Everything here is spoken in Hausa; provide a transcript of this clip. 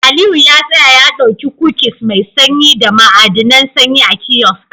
Aliyu ya tsaya ya dauki kukis mai sanyi da ma'adinan sanyi a kiosk